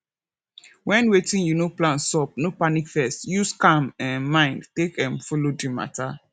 when wetin you no plan sup no panic first use calm um mind take um follow di matter